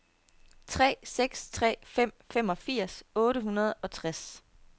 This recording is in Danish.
tre seks tre fem femogfirs otte hundrede og tres